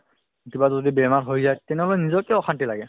কিবা যদি বেমাৰ হৈ যায় তেনেহ'লে নিজতকেও অশান্তি লাগে